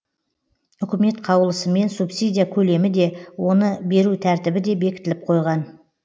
үкімет қаулысымен субсидия көлемі де оны беру тәртібі де бекітіліп қойған